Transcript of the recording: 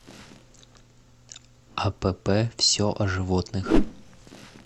апп все о животных